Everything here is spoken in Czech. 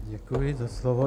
Děkuji za slovo.